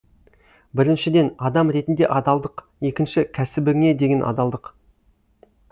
біріншіден адам ретінде адалдық екінші кәсібіңе деген адалдық